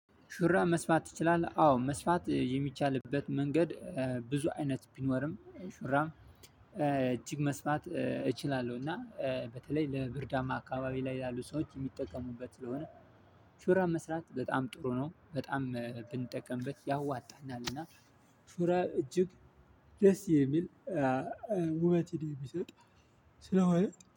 ሹራብ መስፋት ትችላለህ? አዎ መስፋት የሚቻልበት መንገድ ብዙ አይነት ቢኖርም ሹራም መስፋት እችላለሁ። እና በተለይ ለብርዳማ አካባቢ ላይ ያሉ ሰዎች የሚጠቀሙበት ስለሆነ። ሹራብ መስራት በጣም ጥሩ ነው በጣም ብንጠቀምበት ያዋጣናልና። ሹራብ እጅግ ደስ የሚል ውበትን የሚሰጥ ስለሆነ